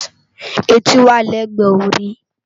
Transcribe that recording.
Éti wá lègbè óri